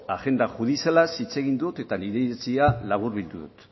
agenda judizialaz hitz egin dut eta nire iritzia laburbildu dut